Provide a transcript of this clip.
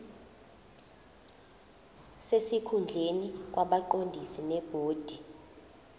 sesikhundleni kwabaqondisi bebhodi